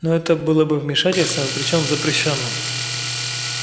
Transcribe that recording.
но это было бы вмешательством причём запрещённым